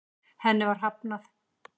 Henni var hafnað.